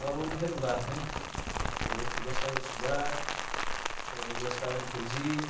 um aluno regular, né, eh que gostava de estudar, eh, gostava de poesia.